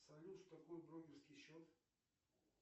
салют что такое брокерский счет